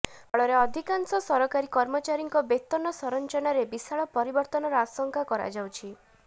ଫଳରେ ଅଧିକାଂଶ ସରକାରୀ କର୍ମଚାରୀଙ୍କ ବେତନ ସଂରଚନାରେ ବିଶାଳ ପରିବର୍ତ୍ତନର ଆଶଙ୍କା କରାଯାଉଛି